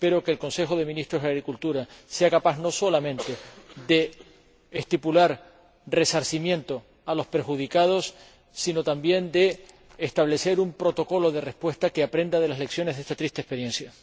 Espero que el Consejo de Ministros de Agricultura sea capaz no solamente de estipular resarcimientos a los perjudicados, sino también de establecer un protocolo de respuesta que aprenda de las lecciones de esta triste experiencia.